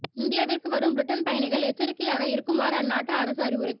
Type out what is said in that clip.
இந்தியாவிற்கு வரும் பிரிட்டன் பயணிகள் எச்சரிக்கையாக இருக்குமாறு அந்நாட்டு அரசு அறிவுரை